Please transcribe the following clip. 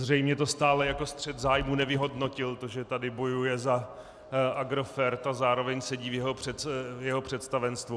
Zřejmě to stále jako střet zájmu nevyhodnotil, to, že tady bojuje za Agrofert a zároveň sedí v jeho představenstvu.